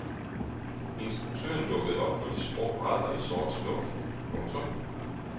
Instruktøren dukkede op på de skrå brædder i sort smoking. punktum